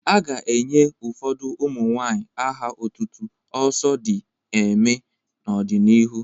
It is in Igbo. A ga-enye ụfọdụ ụmụ nwanyị aha otutu 'Oso di eeme' n'ọdịnihu.